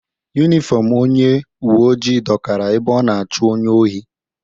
Yunifọmụ onye uweojii dọkara ebe ọ na-achụ onye ohi.